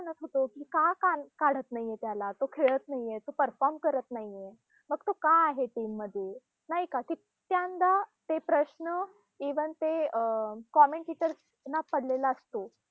पण आपण म्हणत होतो कि का का काढत नाहीये त्याला, तो खेळत नाहीये, तो perform करत नाहीये. मग तो का आहे team मध्ये, नाही का? तितक्यांदा ते प्रश्न even ते अं commentators ना पडलेला असतो.